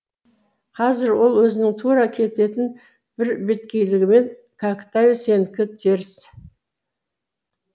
қазір ол өзінің тура кететін бірбеткейлігімен кәкітай сенікі теріс